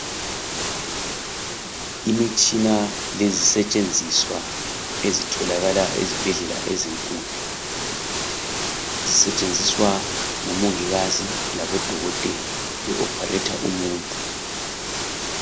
Imitshina lezisetshenziswa ezitholakala ezibhedlela ezinkulu. Zisetshenziswa ngumongikazi labodokotela be opharetha umuntu.